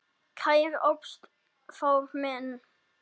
Kæri Ástþór minn.